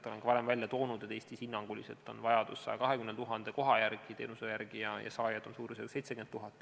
Olen ka varem esile toonud, et Eestis on hinnanguline vajadus 120 000 koha järele, teenuse järele, ja saajaid on suurusjärgus 70 000.